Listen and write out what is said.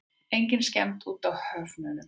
Engin skemmd á úthöfunum.